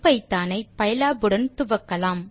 ஐபிதான் ஐ பைலாப் உடன் துவக்கலாம்